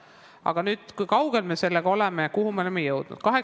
Aga kui kaugel me sellega oleme ja kuhu me oleme jõudnud?